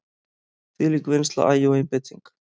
Þvílík vinnsla, agi og einbeiting.